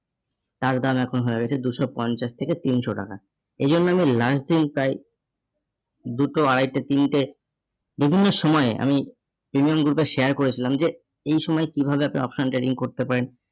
তার দাম এখন হয়ে গেছে দুশো পঞ্চাশ থেকে তিনশো টাকা। এই জন্য আমি last দিন প্রায় দুটো আড়াইটে, তিনটে বিভিন্ন সময়ে আমি premium group এ share করেছিলাম যে এই সময় কিভাবে আপনি option trading করতে পারেন।